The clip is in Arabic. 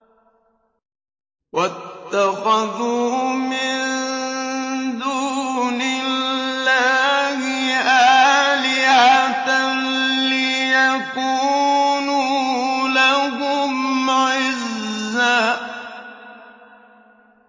وَاتَّخَذُوا مِن دُونِ اللَّهِ آلِهَةً لِّيَكُونُوا لَهُمْ عِزًّا